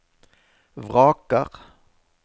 vraker